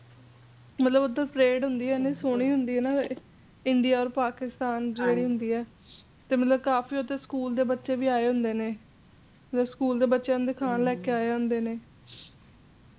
ਮਤਲੱਬ ਓਥੇ parade ਹੁੰਦੀ ਇੰਨੀ ਸੋਹਣੀ ਹੁੰਦੀ ਇਹ India ਤੇ Pakistan ਜਿਹੜੀ ਹੁੰਦੀ ਇਹ ਤੇ ਮਤਲਬ ਕਾਫੀ ਹੱਦ ਤਕ ਦੇ school ਦੇ ਬਚੇ ਵੀ ਆਏ ਹੁੰਦੇ ਨੇ ਤੇ school ਦੇ ਬੱਚਿਆਂ ਨੂੰ ਦਿਖਾਣ ਲੈਕੇ ਆਏ ਹੁੰਦੇ ਨੇ